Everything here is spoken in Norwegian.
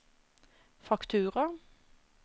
faktura